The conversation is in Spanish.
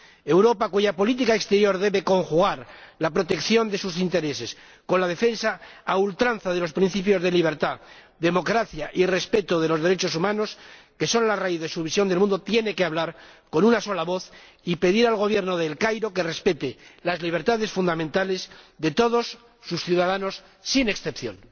Europa, cuya política exterior debe conjugar la protección de sus intereses con la defensa a ultranza de los principios de libertad, democracia y respeto de los derechos humanos, que son la raíz de su visión del mundo, tiene que hablar con una sola voz y pedir al Gobierno de El Cairo que respete las libertades fundamentales de todos sus ciudadanos sin excepción.